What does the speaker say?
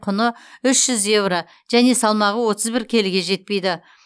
құны үш жүз еуро және салмағы отыз бір келіге жетпейді